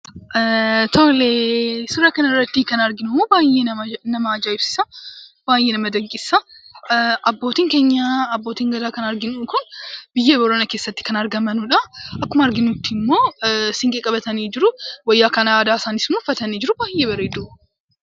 Tole, suuraa kanarratti kan arginu baayyee nama ajaa'ibsiisa. baayyee nama dinqisiisa. abbootiin keenya abbootiin gadaa kan arginu kun biyya booranaa keessatti kan argamanudha. Akkuma arginuttimmoo, siinqee qabatanii jiru. Wayyaa kan aadaa isaanisimmoo uffatanii jiru. Baayyee bareedu.